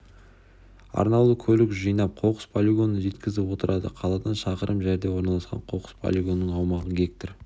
арнаулы көлік жинап қоқыс полигонына жеткізіп отырады қаладан шақырым жерде орналасқан қоқыс полигонының аумағы гектар